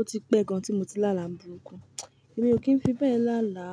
Ó ti pẹ gan tí mo ti láàlà burúkú. Èmi ò kí ń fi bẹ́ẹ̀ láàlà.